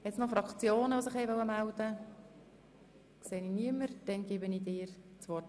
Zuerst hat Grossrat Löffel das Wort.